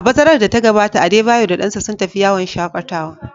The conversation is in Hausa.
A bazarar da ta gabata, Adebayor da dansa sun tafi yawon shaƙatawa.